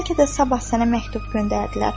Bəlkə də sabah sənə məktub göndərdilər.